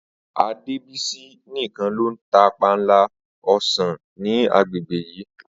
Adébísí nìkan ló ń ta panla o̩sàn ní agbègbè yìĺ